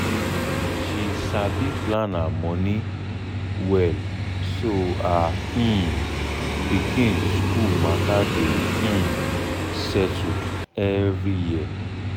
she sabi plan her money well so her um pikin school matter dey um settled every year